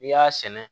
N'i y'a sɛnɛ